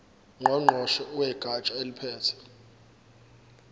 ngqongqoshe wegatsha eliphethe